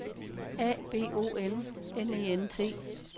A B O N N E N T